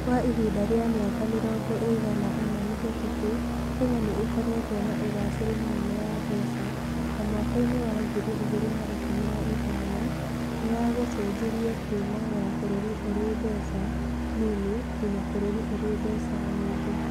Kwa ihinda rĩa mĩaka mĩrongo ĩigana ũna mĩhĩtũku, Kenya nĩ ĩkoretwo na ũgaacĩru mũnene wa mbeca, na mwaka-inĩ wa ngiri igĩrĩ na ikũmi na ithano nĩ ya gũcenjirie kuumaya bũrũri ũrĩ mbeca nini nginya bũrũri ũrĩ mbeca nyingĩ.